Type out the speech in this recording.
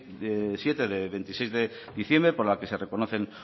mil siete de veintiséis de diciembre por la que se reconoce